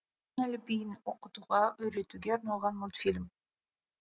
латын әліпбиін оқытуға үйретуге арналған мультфильм